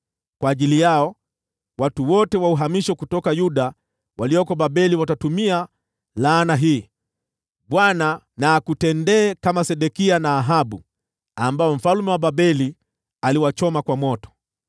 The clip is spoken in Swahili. Kwa ajili yao, watu wote wa uhamisho kutoka Yuda walioko Babeli watatumia laana hii: ‘ Bwana na akutendee kama Sedekia na Ahabu, ambao mfalme wa Babeli aliwachoma kwa moto.’